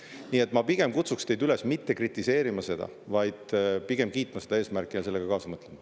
Nii et ma kutsuks teid üles mitte kritiseerima, vaid pigem kiitma seda eesmärki ja kaasa mõtlema.